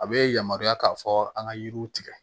A bɛ yamaruya k'a fɔ an ka yiriw tigɛ